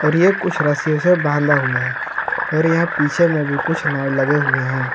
और ये कुछ रस्सीयों से बांधा हुआ है और यहां पीछे में भी कुछ नाव लगे हुए हैं।